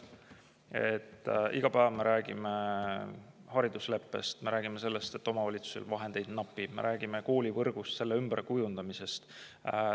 Me iga päev räägime haridusleppest, me räägime sellest, et omavalitsustel vahendeid napib, me räägime koolivõrgust, selle ümberkujundamisest.